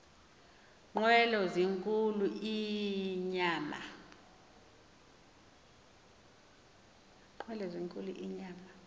nqwelo zinkulu inyama